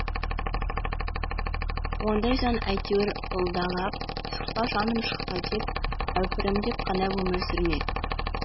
ондай жан әйтеуір ылдалап шықпа жаным шықпа деп әупірімдеп қана өмір сүрмек